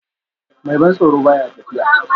Mai ban tsoro ba ya tafiya